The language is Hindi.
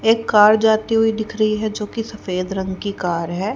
एक कार जाती हुई दिख रही है जो की सफेद रंग की कार है।